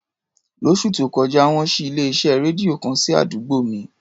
Lóṣù tó kọjá, wọ́n ṣí ilé-iṣẹ́ rédíò kan sí àdúgbò mi.